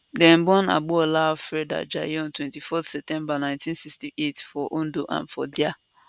dem born agboola alfred ajayi on 24 september 1968 for ondo and for dia